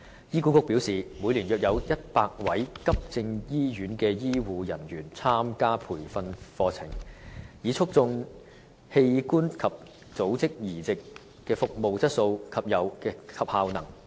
醫管局表示，每年約有100位急症醫院的醫護人員參加培訓課程，以促進器官及組織移植的服務質素及效能。